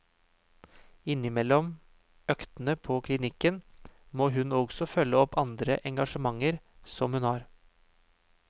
Innimellom øktene på klinikken, må hun også følge opp andre engasjementer som hun har.